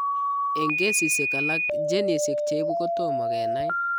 Eng' kesisiek alak genisiek cheibu kotoma kenai